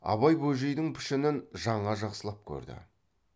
абай бөжейдің пішінін жаңа жақсылап көрді